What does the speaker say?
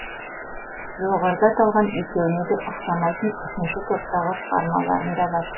жоғарыда аталған екеуіне де ұқсамайтын үшінші топтағы шығармаларым да бар